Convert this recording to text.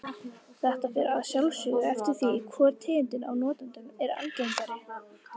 Þetta fer að sjálfsögðu eftir því hvor tegundin af notendunum er algengari.